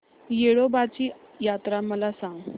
येडोबाची यात्रा मला सांग